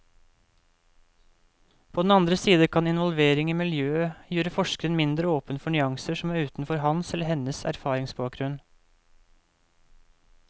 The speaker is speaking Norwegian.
På den andre side kan involvering i miljøet gjøre forskeren mindre åpen for nyanser som er utenfor hans eller hennes erfaringsbakgrunn.